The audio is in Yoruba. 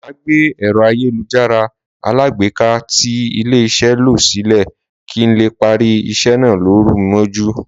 Máà gbé èro ayélujára alágbèéká tí ilé iṣé lọ sí ilé, kín lè parí isé náà lóru mójú